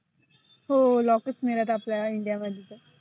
हो lockers नसतात आपल्या India मध्ये.